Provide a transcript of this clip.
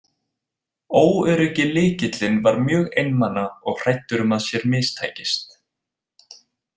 Óöryggi Lykillinn var mjög einmana og hræddur um að sér mistækist.